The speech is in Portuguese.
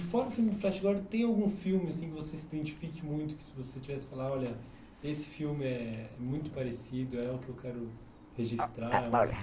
E fora o filme do Flash, agora tem algum filme que você se identifique muito, que se você tivesse que falar, olha, esse filme é muito parecido, é o que eu quero registrar.